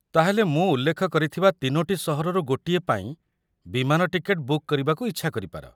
ତା'ହେଲେ ମୁଁ ଉଲ୍ଲେଖ କରିଥିବା ତିନୋଟି ସହରରୁ ଗୋଟିଏ ପାଇଁ ବିମାନ ଟିକେଟ ବୁକ୍ କରିବାକୁ ଇଚ୍ଛା କରି ପାର।